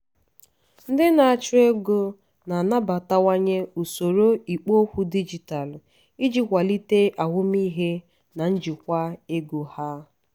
ndị na-achụ ego na-anabatawanye usoro ikpo okwu dijitalụ iji kwalite ahụmịhe na njikwa ego ha.